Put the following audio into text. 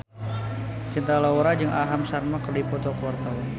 Cinta Laura jeung Aham Sharma keur dipoto ku wartawan